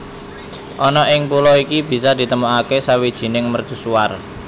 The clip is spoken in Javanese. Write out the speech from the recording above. Ana ing pulo iki bisa ditemoke sawijining mercusuar